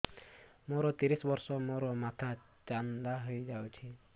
ମୋ ତିରିଶ ବର୍ଷ ମୋ ମୋଥା ଚାନ୍ଦା ହଇଯାଇଛି